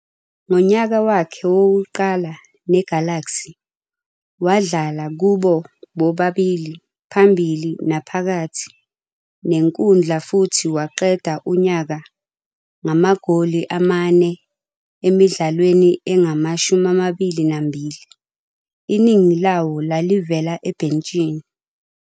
Ngonyaka wakhe wokuqala neGalaxy, wadlala kubo bobabili phambili naphakathi nenkundla futhi waqeda unyaka ngamagoli amane emidlalweni engama-22, iningi lawo lalivela ebhentshini.